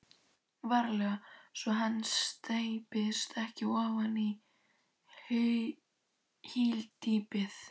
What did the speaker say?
VARLEGA svo hann steypist ekki ofan í hyldýpið.